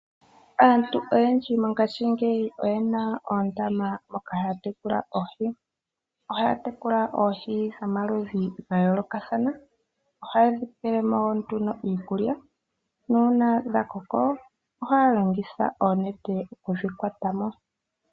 Aantu oyendji mongashingeyi oyena oondama moka haya tekula oohi. Ohaya tekula oohi pamaludhi gayoolokathana. Ohaye dhi pelemo nduno iikulya, nuuna dhakoko, ohaya longitha oonete okudhi kwatamo.